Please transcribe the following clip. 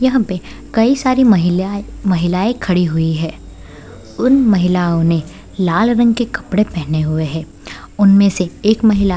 यहाँ पे कई सारी महिला महिलाएं खड़ी हुई हैं उन महिलाओं ने लाल रंग के कपड़े पहने हुए है उनमें से एक महिला --